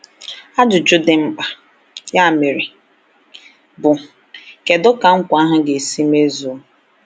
Ajụjụ dị mkpa, ya mere, bụ: Kedu ka nkwa ahụ ga-esi mezuo?